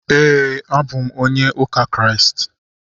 Éè, a bụ m onye ụka Kraịst